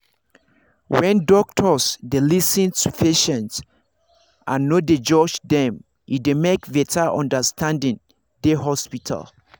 when doctors dey lis ten to patients and no dey judge them e dey make better understanding dey hospital